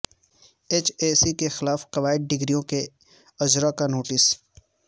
H E C کا خلاف قواعد ڈگریوں کے اجرا کا نوٹس